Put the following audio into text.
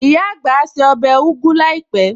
Ìyá àgbà á se ọbẹ̀ ugu láìpẹ̀